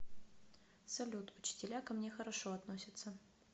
салют учителя ко мне хорошо относятся